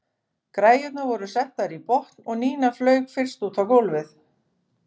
Græjurnar voru settar í botn og Nína flaug fyrst út á gólfið.